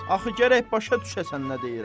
Axı gərək başa düşəsən nə deyirəm.